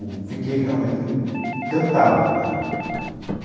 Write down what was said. Eu fiquei realmente encantado por ela.